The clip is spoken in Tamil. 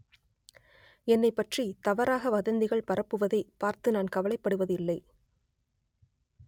என்னைப்பற்றி தவறாக வதந்திகள் பரப்புவதை பார்த்து நான் கவலைப்படுவது இல்லை